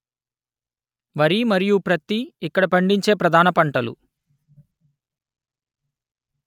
వరి మరియు ప్రత్తి ఇక్కడ పండించే ప్రధాన పంటలు